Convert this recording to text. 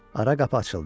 Ara qapı açıldı.